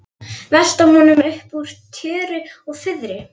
Velta honum upp úr tjöru og fiðri!